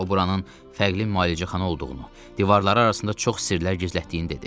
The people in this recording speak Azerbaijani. O buranın fərqli müalicəxana olduğunu, divarları arasında çox sirlər gizlətdiyini dedi.